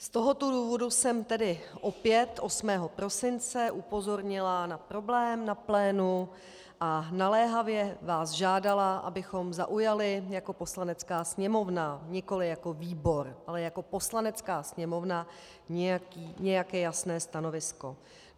Z tohoto důvodu jsem tedy opět 8. prosince upozornila na problém na plénu a naléhavě vás žádala, abychom zaujali jako Poslanecká sněmovna, nikoliv jako výbor, ale jako Poslanecká sněmovna, nějaké jasné stanovisko.